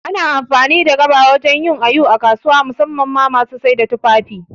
Ana amfani da gaba wajan yin awu a kasuwa, musamman ma masu saida tufafi